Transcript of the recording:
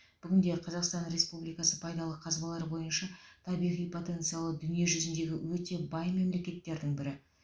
бүгінде қазақстан республикасы пайдалы қазбалар бойынша табиғи потенциалы дүниежүзіндегі өте бай мемлекеттердің бірі